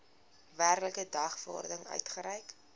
werklike dagvaarding uitgereik